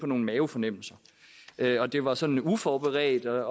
nogle mavefornemmelser at det var sådan uforberedt at